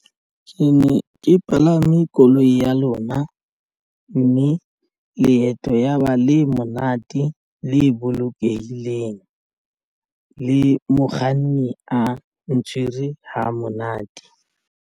Ke ne ke palame koloi ya lona mme leeto yaba le monate le bolokehileng le mokganni a ntshwere ha monate.